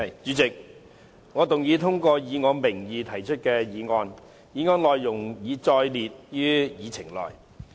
主席，我動議通過以我名義提出的議案，議案內容已載列於議程內。